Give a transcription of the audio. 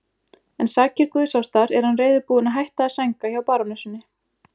En sakir guðsástar er hann reiðubúinn að hætta að sænga hjá barónessunni.